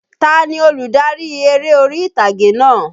Ta ni olùdarí eré orí ìtàgé náà?